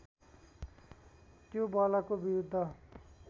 त्यो बलको विरुद्ध